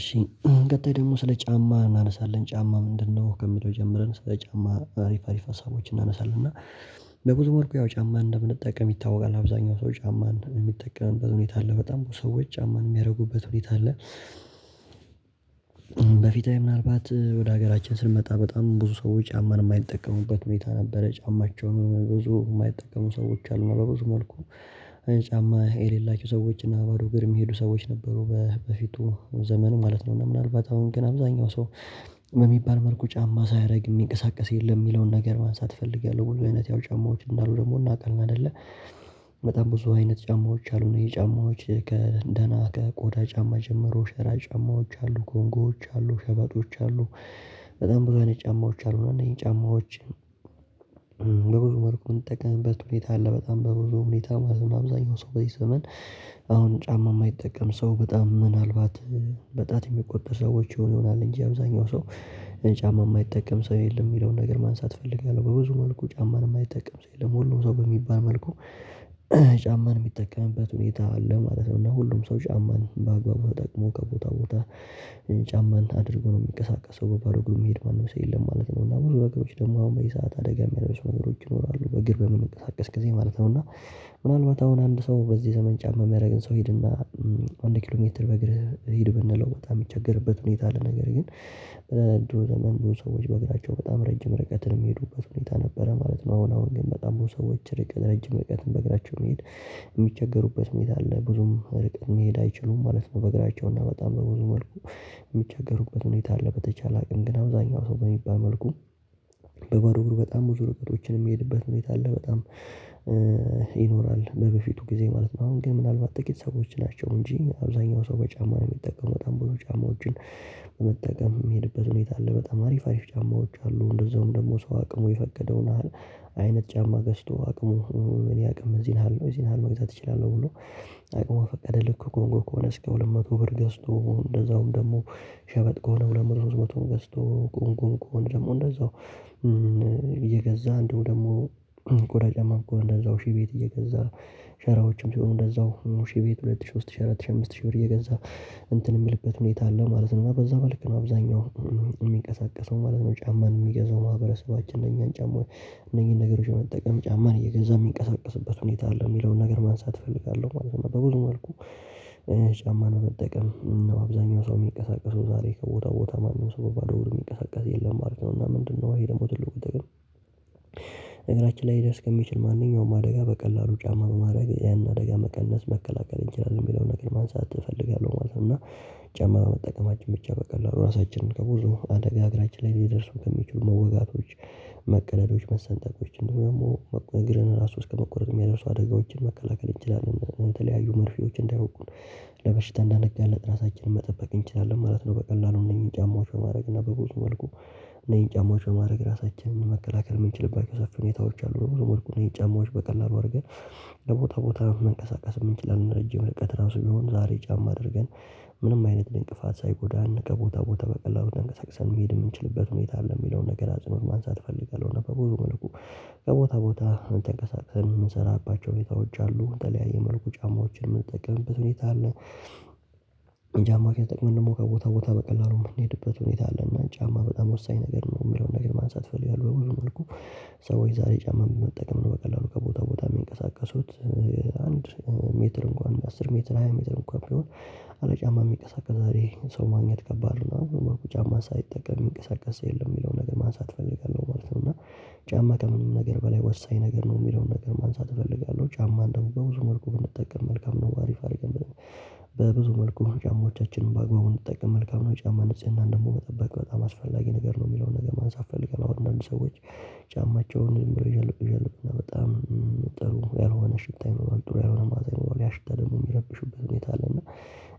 እሺ ቀጣይ ደግሞ ስለ ጫማ እናነሳለን ጫማ ምንድነው? ከሚለው ጀምረን ስለ ጫማ አሪፍ አሪፍ ሀሳቦችን እናነሳለን እና በብዙ መልኩ ያው ጫማ እንደምንጠቀም ይታወቃል አብዛኛው ሰው ጫማ እንደ ሚጠቀምበት ሁኔታ አለ በጣም ብዙ ሰዎች ጫማን የሚያደርጉበት ሁኔታ አለ። በፊት ላይ ምናልባት ወደ ሀገራችን ስንመጣ በጣም ብዙ ሰዎች ጫማን የማይጠቀሙበት ሁኔታ ነበረ ጫማቸውን ብዙ የማይጠቀሙ ሰዎች አሉ በብዙ መልኩ። ጫማ የሌላቸው ሰዎች እና በባዶ እግርም የሚሄዱ ሰዎች ነበሩ በፊቱ ዘመን ማለት ነው። እና ምናልባት አሁን ግን አብዛኛው ሰው በሚባል መልኩ ጫማ ሳያደርግ የሚንቀሳቀስ የለም የሚለውን ነገር ማንሳት እፈልጋለሁ። ብዙ አይነት ያው ጫማዎች እንዳሉ ደግሞ እናውቃለን አይደለ? በጣም ብዙ አይነት ጫማዎች አሉን የጫማዎች ከደህና ከቆዳ ጫማ ጀምሮ ሸራ ጫማዎች አሉ ኮንጎዎች አሉ ሸበጦች አሉ። በጣም ብዙ አይነት ጫማዎች አሉ እና እነዚህ ጫማዎች። በብዙ መልኩ የምንጠቀምበት ሁኔታ አለ በጣም በብዙ ሁኔታ ማለት ነው። አብዛኛው ሰው በዚህ ዘመን አሁን ጫማ የማይጠቀም ሰው በጣም ምናልባት በጣት የሚቆጠር ሰዎች ይሆኑ ይሆናል እንጂ አብዛኛው ሰው ጫማ የማይጠቀም ሰው የለም። የሚለውን ነገር ማንሳት እፈልጋለሁ በብዙ መልኩ ጫማን የማይጠቀም ሰው የለም ሁሉም ሰው በሚባል መልኩ ጫማን የሚጠቀምበት ሁኔታ አለ ማለት ነው። እና ሁሉም ሰው ጫማን በአግባቡ ተጠቅሞ ከቦታ ቦታ ጫማን አድርጎ ነው የሚቀሳቀሰው በባዶ አግሩ የሚሄድ ማንም ሰው የለም ማለት ነው። እና ብዙ መንገዶች ደግሞ አሁን በዚህ ሰዓት አደጋ የሚያደርሱ ነገሮች ይኖራሉ በግር በምንቀሳቀስ ጊዜ ማለት ነው። እና ምናልባት አሁን አንድ ሰው በዚህ ዘመን ጫማ የሚያደርግን ሰው ሂድና አንድ ኪሎ ሜትር በእግርህ ሂድ ብንለው በጣም የሚቸገርበት ሁኔታ አለ። ነገር ግን በድሮ ዘመን ብዙ ሰዎች በእግራቸው በጣም ረጅም ርቀትን የሚሄዱበት ሁኔታ ነበረ ማለት ነው። አሁን አሁን ግን በጣም ብዙ ሰዎች ረጅም እርቀትን በእግራቸው መሄድ የሚቸገሩበት ሁኔታ አለ። ብዙም ሩቅ መሄድ አይችሉም ማለት ነው። በእግራቸው እና በጣም በብዙ መልኩ የሚቸገሩበት ሁኔታ አለ። በተቻለ አቅም ግን አብዛኛው ሰው በሚባል መልኩ በባዶ አግሩ በጣም ብዙ ርቀቶችን የሚሄድበት ሁኔታ አለ። በጣም ይኖራል በበፊቱ ጊዜ ማለት ነው። አሁን ግን ምናልባት ጥቂት ሰዎች ናቸው እንጂ አብዛኛው ሰው በጫማ ነው የሚጠቀመው በጣም ብዙ ጫማዎችን በመጠቀም የሚሄድበት ሁኔታ አለ። በጣም አሪፍ አሪፍ ጫማዎች አሉ። እንደዛውም ደግሞ ሰው አቅሙ የፈቀደውን ያህል አይነት ጫማ ገዝተው አቅሙ እኔ አቅም እዚህን አለው እዚህን አለው መግዛት እችላለሁ። ብሎ አቅሙን ፈቀደ ልክ ኮንጎ ከሆነ ከሁለት መቶ ብር ገዝቶ እንደዛውም ደግሞ ሸበጥ ከሆነ ሁለት መቶ ሶስት መቶን ገዝቶ ቁም ቁም ቁም ደግሞ እንደዛው እየገዛ እንደው ደግሞ ቆዳ ጫማ ከሆኔም እንደዛው ሺህ ቤት እየገዛ ሸራዎችም ሲሆኑ እንደዛው ሺህ ቤት ሁለት ሺህ ሶስት ሺህ አራት ሺህ አምስት ሺህ ብር እየገዛ እንትን የምልበት ሁኔታ አለ ማለት ነው። በዛ በልክ ነው አብዛኛው የሚንቀሳቀሰው ማለት ነው። ጫማን የሚገዛው ማህበረሰባችን እነኛን ጫማ እነኚህን ነገሮች የመጠቀም ጫማን እየገዛ የሚንቀሳቀስበት ሁኔታ አለ። የሚለውን ነገር ማንሳት እፈልጋለሁ ማለት ነው። በብዙ መልኩ ጫማ ነው መጠቀም እና አብዛኛው ሰው የሚቀሳቀሰው ዛሬ ከቦታው ቦታ ማንም ሰው ባዶ ወር የሚቀሳቀስ የለም ማለት ነው። እና ምንድነው? ይሄ ደግሞ ትልቁ ግን ነገራችን ላይ ሊደርስ ከሚችል ማንኛውም አደጋ በቀላሉ ጫማ በማድረግ ያንን አደጋ መቀነስ መከላከል ይችላል የሚለውን ነገር ማንሳት እፈልጋለሁ ማለት ነው። እና ጨማማ መጠቀማችን ብቻ በቀላሉ ራሳችንን ከብዙ አደጋ አገራችን ላይ ሊደርሱ ከሚችሉ መወጋቶች መቀለሎች መሰንጠቆች እንደሆነ ደግሞ እግርን ራሱ እስከመቆረጥ የሚያደርሱ አደጋዎችን መከላከል ይችላሉ በተለያዩ መርፌዎች እንዳይወጉን ለበሽታ እንዳነጋለት ራሳችንን መጠበቅ እንችላለን ማለት ነው። በቀላሉ እነዚህን ጫማዎች በማድረግ እና በብዙ መልኩ እነዚህን ጫማዎች በማድረግ ራሳችንን መከላከል የምንችልባቸው ሰፊ ሁኔታዎች አሉ። የጫማዎች በቀላሉ አድርገን ለቦታ ቦታ መንቀሳቀስ የምንችለን ረጅም ርቀት ራሱ ቢሆን ዛሬ ጫማ አድርገን ምንም አይነት እንቅፋት ሳይጎዳን ከቦታ ቦታ በቀላው እንቅስቃሴ መሄድ የምንችልበት ሁኔታ አለ የሚለውን ነገር አጽኖር ማንሳት እፈልጋለሁ። እና በብዙ መልኩ ቦታ ቦታ ተንቀሳቀል የምሰራባቸው የታወች አሉ የተለያየ መልኩ ጫማዎችን የምንጠቅምበት ሁኔታ አለ። ጫማ ከተጠቅመን ደግሞ ከቦታ ቦታ በቀላሉ የምንሄድበት ሁኔታ አለ። እና ጫማ በጣም ወሳኝ ነገር ነው የሚለውን ነገር ማንሳት ፈልገዋል። በብዙ መልኩ ሰዎች ዛሬ ጫማ መጠቀም ነው በቀላሉ ከቦታ ቦታ የሚንቀሳቀሱት። አንድ ሜትር እንኳን አስር ሜትር ሃያ ሜትር እንኳን ቢሆን አለ ጫማ የሚንቀሳቀስ ዛሬ ሰው ማግኘት ከባድ ነው። አሁን በርኩ ጫማ ሳይጠቀም እንቅስቃሴ የለም የሚለው ነገር ማንሳት እፈልጋለሁ ማለት ነው። እና ጫማ ከምንም ነገር በላይ ወሳኝ ነገር ነው የምለው ነገር ማንሳት እፈልጋለሁ። ጫማ እንደው በብዙ መልኩ ብንጠቀም መልካም ነው። አሪፍ አሪፍ። በብዙ መልኩ ጫማዎቻችንን በአግባቡ እንድንጠቀም መልካም ነው። ጫማ ንጽህና እንደው መጠበቅ በጣም አስፈላጊ ነገር ነው። የሚለውን ነገር ማን ሳትፈልግ አሁን አንዳንድ ሰዎች ጫማቸውን ዝም ብሎ ይዣል ይዣል እና በጣም ጥሩ ያልሆነ ሽታ ይኖራል ጥሩ ያልሆነ ማዓዛ ይኖራል ያ ሽታ ደግሞ የሚረብሽበት ሁኔታ አለና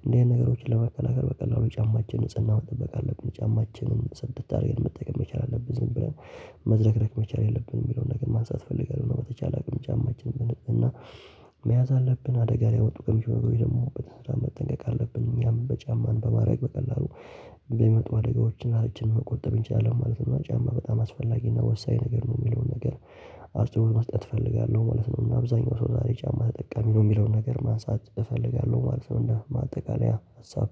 እንደዚህ አይነት ነገሮችን ለመከላከል በቀላሉ ጫማችን ንጽህና መጠበቅ አለብን። ጫማችንን ዐድት አድርገን መጠየቅ መቻል አለብን። ብለን መዝረክረክ መቻል የለብንም የሚለውን ነገር ማንሳት እፈልጋለሁ። በተቻለ አቅም ጫማችን እና መያዝ አለብን አደጋ ላይ ወጥቶ ቀምሾ ወይ ደግሞ በተስራ መጠንቀቅ አለብን። እኛም በጫማን በማድረግ በቀላሉ ለምመጡ አደጋዎችን እራሳችን መቆጠብ እንችላለን ማለት ነው። ጫማ በጣም አስፈላጊ እና ወሳኝ ነገር ነው። የሚለውን ነገር አስተውሎ መስጠት እፈልጋለሁ ማለት ነው። እና አብዛኛው ሰው ዛሬ ጫማ ተጠቃሚ ነው የሚለውን ነገር ማንሳት እፈልጋለሁ ማለት ነው። እንደ ማጠቃለያ ሀሳብ